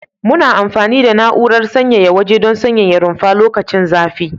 Muna amfani da na'urar sanyaya waje don sanyaya rumfa lokacin zafi.